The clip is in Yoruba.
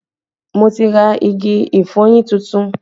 Mo ti ra igi ìfọyín tuntun